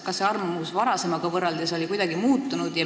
Kas see arvamus oli varasemaga võrreldes kuidagi muutunud?